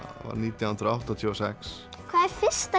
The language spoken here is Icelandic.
nítján hundruð áttatíu og sex hver er fyrsta